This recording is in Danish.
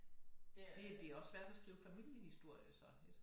Det det er også svært at skrive familiehistorier så